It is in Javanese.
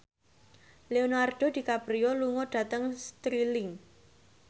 Leonardo DiCaprio lunga dhateng Stirling